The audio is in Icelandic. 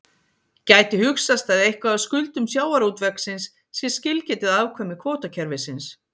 Gæti hugsast að eitthvað af skuldum sjávarútvegsins sé skilgetið afkvæmi kvótakerfisins?